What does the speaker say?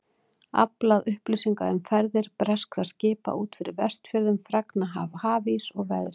Aflað upplýsinga um ferðir breskra skipa út fyrir Vestfjörðum, fregna af hafís og veðri.